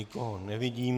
Nikoho nevidím.